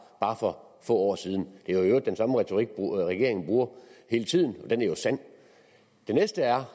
for få år siden det er jo den samme retorik regeringen bruger hele tiden og den er jo sand det næste er